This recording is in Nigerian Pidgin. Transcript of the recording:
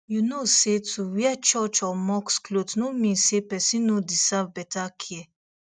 you know say to wear church or mosque cloth no mean say person no deserve better care